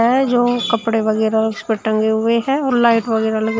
हैं जो कपड़े वगैरा उस पे टंगे हुए हैं और लाइट वगैरा लगे --